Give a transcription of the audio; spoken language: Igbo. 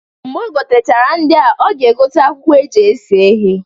Mgbe o gotechara ndịa, ọ ga-egote akwụkwọ eji ese ihe.